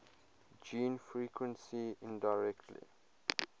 gene frequency indirectly